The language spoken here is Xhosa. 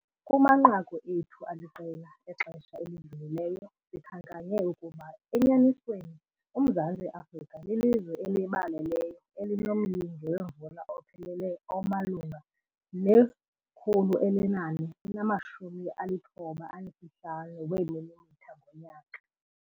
Kumanqaku ethu aliqela exesha elidlulileyo sikhankanye ukuba enyanisweni uMzantsi Afrika lilizwe elibaleleyo elinomyinge wemvula uphelele omalunga ne-495 mm ngonyaka.